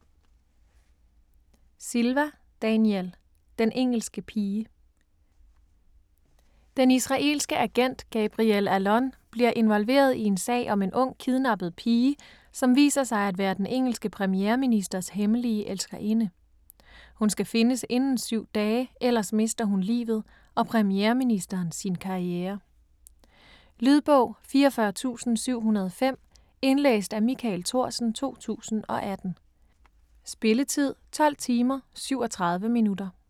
Silva, Daniel: Den engelske pige Den israelske agent Gabriel Allon bliver involveret i en sag om en ung kidnappet kvinde, som viser sig at være den engelske premierministers hemmelige elskerinde. Hun skal findes inden syv dage, ellers mister hun livet og premierministeren sin karriere. Lydbog 44705 Indlæst af Michael Thorsen, 2018. Spilletid: 12 timer, 37 minutter.